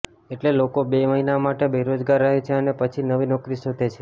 એટલે લોકો બે મહિના માટે બેરોજગાર રહે છે અને પછી નવી નોકરી શોધે છે